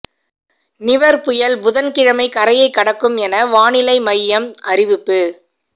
நிவர் புயல் புதன்கிழமை கரையை கடக்கும் என வானிலை மையம் அறிவிப்பு